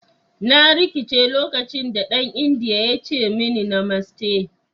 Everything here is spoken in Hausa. "Na rikice lokacin da dan indiyan ya ce da ni "Namaste"."